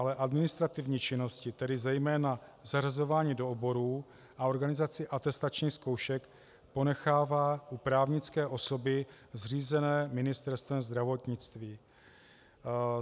Ale administrativní činnosti, tedy zejména zařazování do oborů a organizaci atestačních zkoušek, ponechává u právnické osoby zřízené Ministerstvem zdravotnictví.